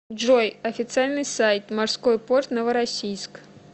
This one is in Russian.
джой официальный сайт морской порт новороссийск